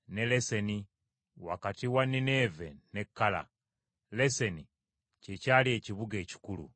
Leseni, wakati wa Nineeve ne Kala; Leseni kye kyali ekibuga ekikulu.